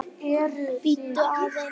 Bíddu aðeins